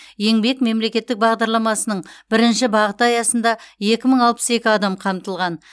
еңбек мемлекеттік бағдарламасының бірінші бағыты аясында екі мың алпыс екі адам қамтылған